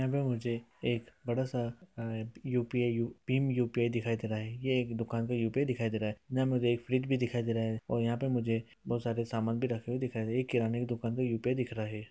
यहाँ पे मुझे एक बड़ा-सा यू.पी.आई. Pin UPI. दिखाई दे रहा है| ये एक दुकान यू.पी.आई. दिखाई दे रहा है| यहाँ मुझे एक फ्रिज भी दिखाई दे रहा है और यहाँ पे मुझे बोहत सारे समान रखे हुए दिखाई दे रहा है| किराना दुकान पे यू.पी.आई. दिख रहा है।